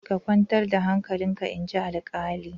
Ka kwantar da hankalinka inji alkalin.